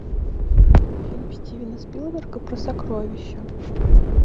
фильм стивена спилберга про сокровища